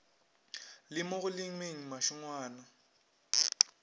le mo go lemeng mašengwana